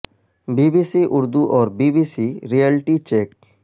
be B C Urdu اور B B C reality check